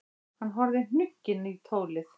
Hann horfði hnugginn í tólið.